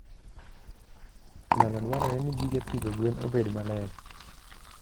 Nyalo dwarore ni gige pidho gwen obed maler.